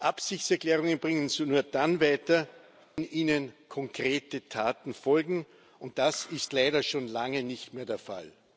Absichtserklärungen bringen uns nur dann weiter, wenn ihnen konkrete Taten folgen, und das ist leider schon lange nicht mehr der Fall.